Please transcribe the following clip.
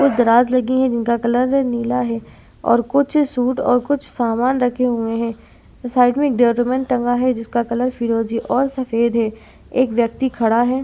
कुछ दराज़ लगी हैं जिनका कलर नीला है और कुछ सूट और कुछ सामान रखे हुए हैं। साइड में एक डोरिमान टंगा है जिसका कलर फिरोज़ी और सफ़ेद है। एक व्यक्ति खड़ा है।